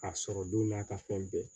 A sɔrɔ don n'a ka fɛn bɛɛ ye